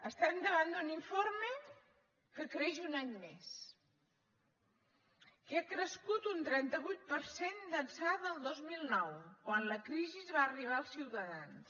estem davant d’un informe que creix un any més que ha crescut un trenta vuit per cent d’ençà del dos mil nou quan la crisi va arribar als ciutadans